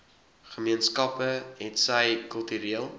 gemeenskappe hetsy kultureel